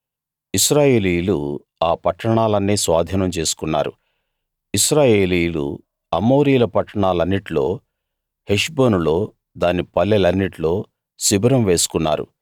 ఇశ్రాయేలీయులు ఆ పట్టాణాలన్నీ స్వాధీనం చేసుకున్నారు ఇశ్రాయేలీయులు అమోరీయుల పట్టాణాలన్నిట్లో హెష్బోనులో దాని పల్లెలన్నిట్లో శిబిరం వేసుకున్నారు